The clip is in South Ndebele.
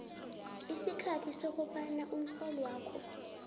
isikhathi sokobana umrholwakho